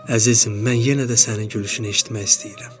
Əzizim, mən yenə də sənin gülüşünü eşitmək istəyirəm.